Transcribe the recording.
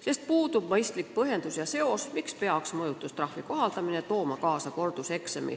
Nimelt puudub mõistlik põhjendus, miks peaks mõjutustrahvi kohaldamine tooma kaasa korduseksami.